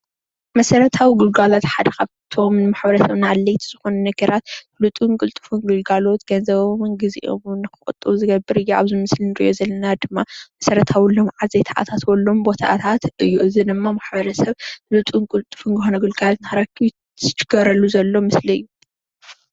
መሰረታዊ ግልጋሎት ሓደ ካብእቶም ንማሕበረሰብ ኣድላይቲ ዝኮኑ ነገራት ንፅሁን ንጡፍ ግለጋሎት ገንዘቦምን ግዜኦም ንክቁጡ ዝገብር እዩ፡፡ ኣብዚ እንሪኦም ዘለና ድማ ማሰረታዊ ልምዓታት ዘይተአታተወሎም ቦታትታ እዩ፡፡ እዚ ድማ ማሕበረሰብ ንፅሁን ንጡፍ ዝኮነ ግልጋሎት ንክረክብ ትፅቢት ዝገበረሉ ዘሎ ምስሊ እዩ፡፡